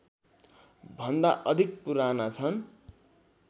भन्दा अधिक पुराना छन्